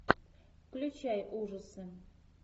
включай ужасы